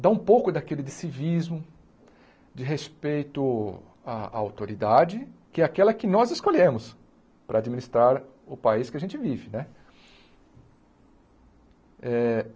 Dar um pouco daquele de civismo, de respeito à autoridade, que é aquela que nós escolhemos para administrar o país que a gente vive né.